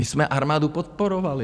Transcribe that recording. My jsme armádu podporovali.